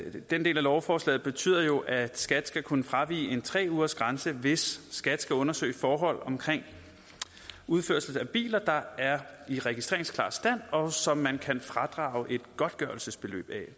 den del af lovforslaget betyder jo at skat skal kunne fravige en tre ugersgrænse hvis skat skal undersøge forhold om udførsel af biler der er i registreringsklar stand og som man kan fradrage et godtgørelsesbeløb af